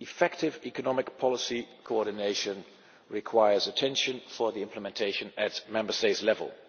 effective economic policy coordination requires attention for implementation at Member State level.